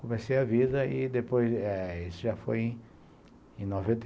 Comecei a vida e depois isso já foi em noventa